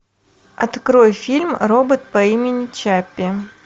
открой фильм робот по имени чаппи